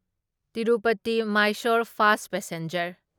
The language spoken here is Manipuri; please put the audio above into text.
Tirupati Mysore fast passenger